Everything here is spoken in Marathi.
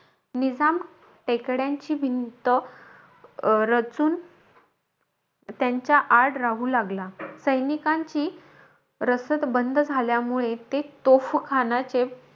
निजाम टेकड्यांची भिंत अं रचून त्यांच्या आड राहू लागला. सैनीकांची रसद बंद झाल्यामुळे, ते तोफखान्याचे,